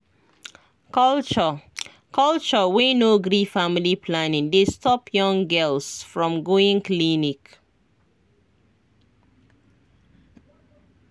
culture culture wey no gree family planning dey stop young girls from going clinic